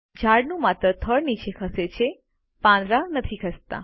ઝાડનું માત્ર થડ નીચે ખસે છે પાંદડા નથી ખસતા